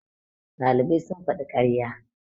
ɗalibai sun faɗi ƙarya